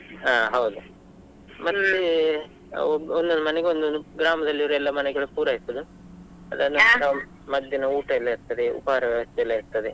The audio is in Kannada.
ಹಾ ಹೌದು ಮತ್ತೆ ಒಬ್~ ಒಂದೊಂದು ಮನೆಗೆ ಒಂದೊಂದು, ಗ್ರಾಮದಲ್ಲಿ ಇರುವ ಎಲ್ಲಾ ಮನೆಗಳು ಪೂರೈಸುದು ಅದನ್ನುಸ ಮಧ್ಯಾಹ್ನ ಊಟ ಎಲ್ಲಾ ಇರ್ತದೆ, ಉಪಹಾರ ವ್ಯವಸ್ಥೆ ಎಲ್ಲಾ ಇರ್ತದೆ.